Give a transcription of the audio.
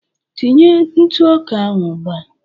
Tinye ntụ ọka ahụ ugbu a